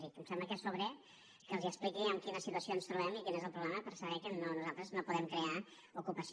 i em sembla que és sobrer que els expliqui en quina situació ens trobem i quin és el problema per saber que nosaltres no podem crear ocupació